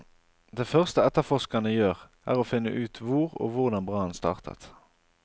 Det første etterforskerene gjør er å finne ut hvor og hvordan brannen startet.